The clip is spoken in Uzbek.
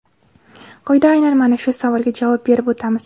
Quyida aynan mana shu savolga javob berib o‘tamiz.